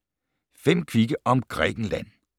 5 kvikke om Grækenland